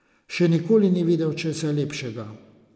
Še nikoli ni videl česa lepšega.